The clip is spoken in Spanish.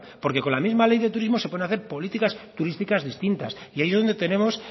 porque con la misma ley de turismo se pueden hacer políticas turísticas distintas y ahí es donde tenemos